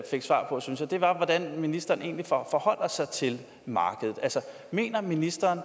fik svar på synes jeg var hvordan ministeren egentlig forholder sig til markedet mener ministeren